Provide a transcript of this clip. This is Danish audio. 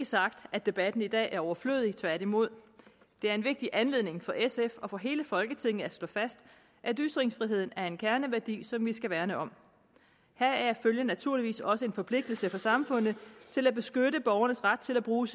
sagt at debatten i dag er overflødig tværtimod det er en vigtig anledning til for sf og for hele folketinget til at slå fast at ytringsfriheden er en kerneværdi som vi skal værne om heraf følger naturligvis også en forpligtelse for samfundet til at beskytte borgernes ret til at bruge